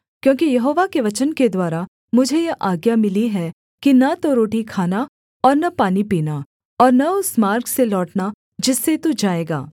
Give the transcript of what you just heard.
क्योंकि यहोवा के वचन के द्वारा मुझे यह आज्ञा मिली है कि न तो रोटी खाना और न पानी पीना और न उस मार्ग से लौटना जिससे तू जाएगा